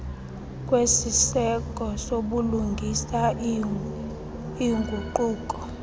kwesiseko sobulungisa iinguquko